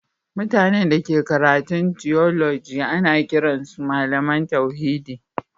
Mutane da ke karatun tiyoloji ana kiran su Mallam tauhidi